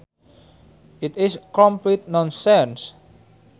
It is complete nonsense